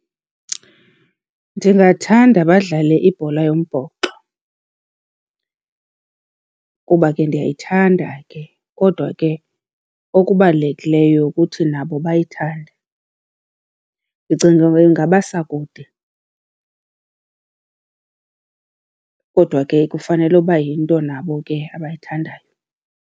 Ndingathanda badlale ibhola yombhoxo kuba ke ndiyayithanda ke, kodwa ke okubalulekileyo kuthi nabo bayithande. Ndicinga ingabasa kude, kodwa ke kufanele uba yinto nabo ke abayithandayo.